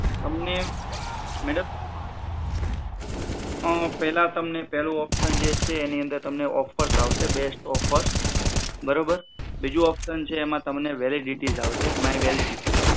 તમે શું કીધિ ક્યાં ક્યાં પાંચ ઓપ્શન આવે છે પેલા તમને પેલું ઓપ્શન જે છે એની અંદર તમને ઑફર્સ આવશે બેસ્ટ ઑફર્સ બરોબર બીજું ઓપ્શન છે એમાં તમને વેલિડિટી આવશે માંય વેલિડિટી